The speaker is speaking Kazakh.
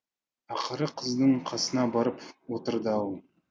ақыры қыздың қасына барып отырды ау